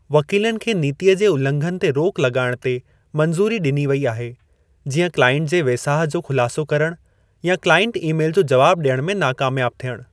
वकीलनि खे नीतीअ जे उल्लंघनि ते रोक लॻाइण ते मंज़ूरी ॾिनी वई आहे जीअं क्लाइंट जे वेसाह जो खुलासो करण या क्लाइंट ई मेलु जो जवाबु ॾियण में नाकामियाबु थियणु।